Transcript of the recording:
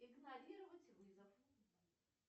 игнорировать вызов